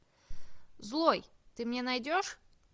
злой ты мне найдешь